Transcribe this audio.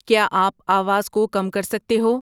کیا آپ آواز کو کم کر سکتے ہو